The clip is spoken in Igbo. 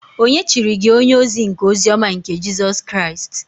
Ònye chiri gi onye-ozi nke ozi-ọma nke Jisus Kraist?